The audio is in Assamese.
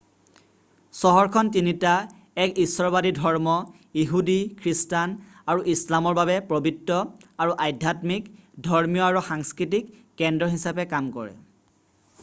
চহৰখন তিনিটা এক ঈশ্বৰবাদী ধৰ্ম ইহুদী খ্ৰীষ্টান আৰু ইছলামৰ বাবে পবিত্ৰ আৰু আধ্যাত্মিক ধৰ্মীয় আৰু সাংস্কৃতিক কেন্দ্ৰ হিচাপে কাম কৰে